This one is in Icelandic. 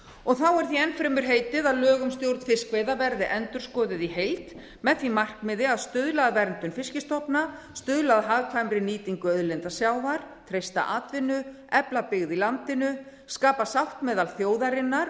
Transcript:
og þá er því enn fremur heitið að lög um stjórn fiskveiða verði endurskoðuð í heild með því markmiði að stuðla að verndun fiskstofna stuðla að hagkvæmri nýtingu auðlinda sjávar treysta atvinnu efla byggð í landinu skapa sátt meðal þjóðarinnar